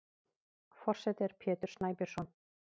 Forseti er Pétur Snæbjörnsson.